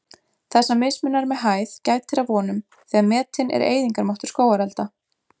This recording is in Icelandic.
Þessa mismunar með hæð gætir að vonum, þegar metinn er eyðingarmáttur skógarelda.